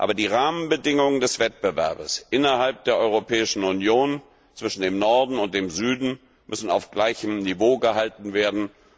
Aber die Rahmenbedingungen des Wettbewerbs innerhalb der Europäischen Union zwischen dem Norden und dem Süden müssen auf gleichem Niveau gehalten werden.